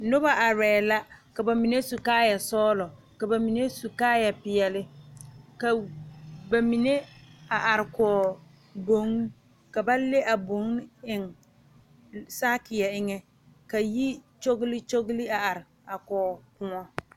Noba are la ka bamine su kaaya sɔglɔ ka bamine su kaaya peɛle ka bamine a are kɔŋ boŋ ka ba le a boŋ eŋ saakere eŋa ka yi kyɔle kyɔle are a koo kõɔ.